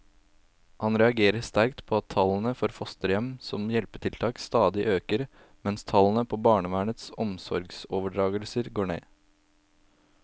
Han reagerer sterkt på at tallene for fosterhjem som hjelpetiltak stadig øker, mens tallene på barnevernets omsorgsoverdragelser går ned.